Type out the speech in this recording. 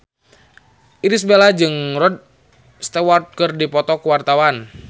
Irish Bella jeung Rod Stewart keur dipoto ku wartawan